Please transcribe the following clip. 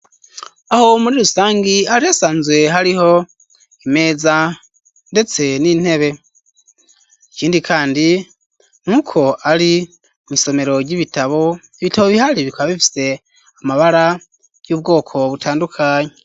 Aho wo muri rusangi arihesanzwe hariho imeza, ndetse n'intebe ikindi, kandi nk'uko ari mw'isomero ry'ibitabo bitabo bihari bikabifise amabara y'ubwoko butandukanyi.